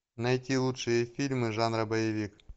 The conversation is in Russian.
найти лучшие фильмы жанра боевик